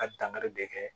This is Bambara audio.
A dankari bɛɛ kɛ